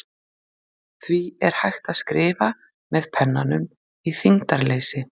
Því er hægt að skrifa með pennanum í þyngdarleysi.